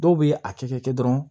Dɔw bɛ a kɛ kɛ dɔrɔn